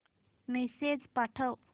message पाठव